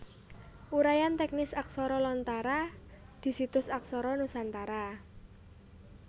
Uraian teknis aksara Lontara di situs Aksara Nusantara